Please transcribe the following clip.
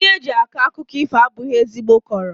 Ndị eji akọ akụkọ ifo abụghị ezigbo kọọrọ